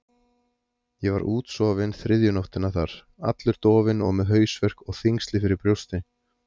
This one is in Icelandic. Ég var útsofinn þriðju nóttina þar, allur dofinn og með hausverk og þyngsli fyrir brjósti.